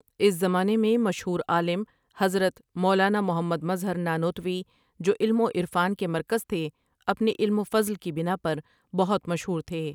اس زمانہ میں مشہور عالم حضرت مولانا محمدمظہر نانوتویؒ جو علم وعرفان کے مرکز تھے اپنے علم وفضل کی بنا پر بہت مشہور تھے۔